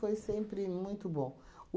sempre muito bom.